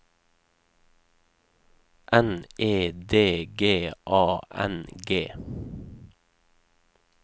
N E D G A N G